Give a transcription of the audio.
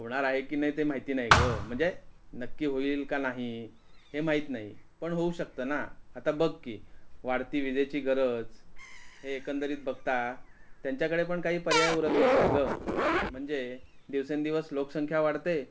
होणार आहे कि नाही ते माहिती नाही ग म्हणजे नक्की होईल का नाही हे माहित नाही पण होऊ शकत ना आता बघ कि वाढती विजेची गरज हे एकंदरीत बघता त्यांच्या कडे पण काही पर्याय उरत नसेल ग म्हणजे दिवसेंदिवस लोकसंख्या वाढते.